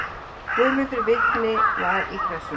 Guðmundur vitni var í Pressunni.